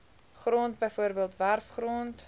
grond bv werfgrond